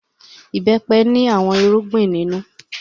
Ìbẹ́pẹ ní àwọn irúgbìn nínú.